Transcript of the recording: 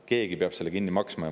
Keegi peab selle kinni maksma.